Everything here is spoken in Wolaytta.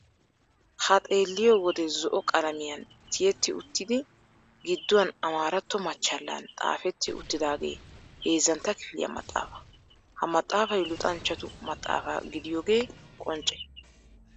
Ha xeelliyo wode zo"o qalamiyan tiyetti uttidi gidduwan amaaratto machchallan xaafetti uttidaagee heezzantta kifiliya maxaafaa. Ha maxaafay luxanchchatu maxaafaa gidiyogee qoncce.